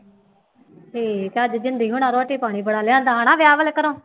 ਠੀਕ, ਅੱਜ ਜ਼ਿੰਦੀ ਹੁਣਾ ਰੋਟੀ ਪਾਣੀ ਬੜਾ ਲਿਆਂਦਾ ਹੈ ਨਾ ਵਿਆਹ ਵਾਲੇ ਘਰੋਂ